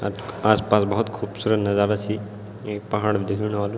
अ आस-पास बहौत खुबसूरत नजारा छी एक पहाड़ भी दिखेणु वालू।